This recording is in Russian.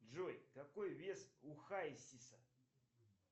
джой какой вес у хайсиса